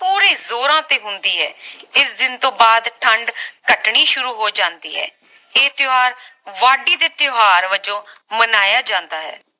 ਪੂਰੇ ਜੋਰਾਂ ਤੇ ਹੁੰਦੀ ਹੈ ਇਸ ਦਿਨ ਤੋਂ ਬਾਅਦ ਠੰਡ ਘਟਣੀ ਸ਼ੁਰੂ ਹੋ ਜਾਂਦੀ ਹੈ ਇਹ ਤਿਓਹਾਰ ਵਾਢੀ ਦੇ ਤਿਓਹਾਰ ਵਜੋਂ ਮਨਾਇਆ ਜਾਂਦਾ ਹੈ